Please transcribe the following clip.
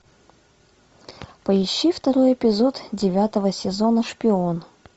поищи второй эпизод девятого сезона шпион